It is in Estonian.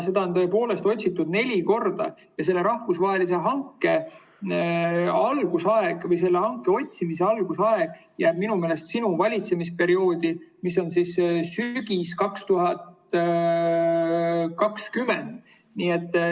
Seda tõepoolest otsiti neli korda ja selle rahvusvahelise hanke algusaeg või selle otsimise algusaeg jääb minu meelest sinu valitsemisperioodi, sügisesse 2020.